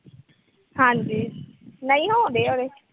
ਹਾਂਜੀ। ਨਈਂ ਹੋਣ ਡਏ ਆ ਓਹਦੇ।